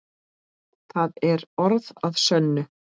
Það er orð að sönnu.